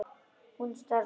Hún starði á mig.